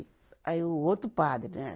Aí, o outro padre, né?